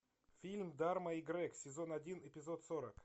фильм дарма и грег сезон один эпизод сорок